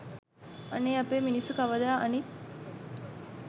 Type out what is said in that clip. අනේ අපේ මිනිස්සු කවදා අනිත්